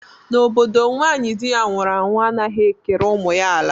N'obodo m nwaanyị di ya nwụrụ anwu anaghị ekere ụmụ ya ala